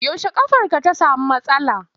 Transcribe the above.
Yaushe ƙafarka ta samu matsala.